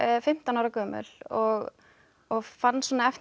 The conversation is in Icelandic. fimmtán ára gömul og og fann svona eftir